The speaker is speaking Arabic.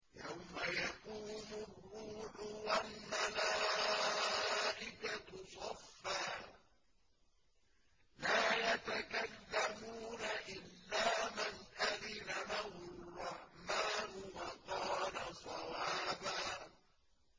يَوْمَ يَقُومُ الرُّوحُ وَالْمَلَائِكَةُ صَفًّا ۖ لَّا يَتَكَلَّمُونَ إِلَّا مَنْ أَذِنَ لَهُ الرَّحْمَٰنُ وَقَالَ صَوَابًا